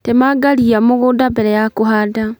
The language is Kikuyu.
Temanga rĩa mũgũnda mbere ya kũhanda